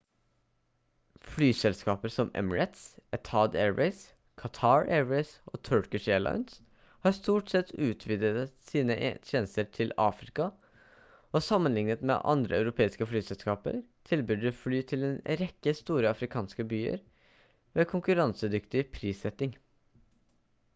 flyselskaper som emirates etihad airways qatar airways og turkish airlines har stort sett utvidet sine tjenester til afrika og sammenlignet med andre europeiske flyselskaper tilbyr de fly til en rekke store afrikanske byer ved konkurransedyktig prissetting